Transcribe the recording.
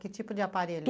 Que tipo de aparelho?